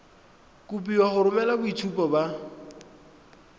kopiwa go romela boitshupo ba